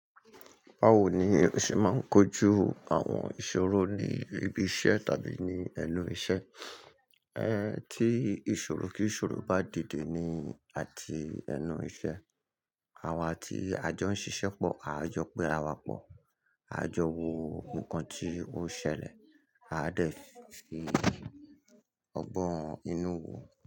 Bawo ni o ṣe máa ń kojú àwọn ìṣòro ní ibi iṣẹ́ tàbí ní ẹnu iṣẹ́? Ẹ̀ tí ìṣòro kí ìṣòro bá dìde ní àti ẹnu iṣẹ́, àwa tí a jọ ń ṣiṣẹ́ pọ̀, aa jọ pé àra wa pọ̀, a jọ wo ohun kan tí ó ṣẹlẹ̀, a dẹ̀ fi ọgbọ́n inú wo.